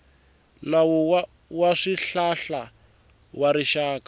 nawu wa swihlahla wa rixaka